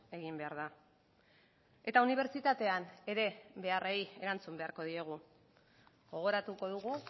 egin behar da eta unibertsitatean ere beharrei erantzun beharko diegu gogoratuko dugu